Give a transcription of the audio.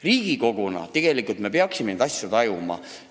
Riigikoguna me peaksime neid asju tajuma.